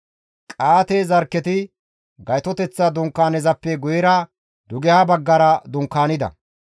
Qa7aate zarkketi Gaytoteththa Dunkaanezappe guyera dugeha baggara dunkaanida.